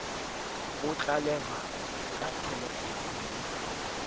bo tlalehwa ka thelefounu le